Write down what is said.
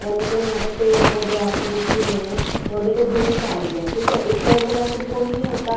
और देखो यहां पे पेड़ पौधे आपको दिख ही रहे हैं और देखो धूप आ रही है ठीक है इस टाइम पर वैसे भी कोई नहीं होता